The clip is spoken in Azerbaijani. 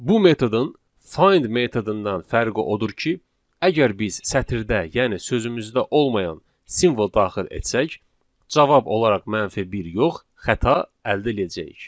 Bu metodun find metodundan fərqi odur ki, əgər biz sətirdə, yəni sözümüzdə olmayan simvol daxil etsək, cavab olaraq mənfi bir yox, xəta əldə eləyəcəyik.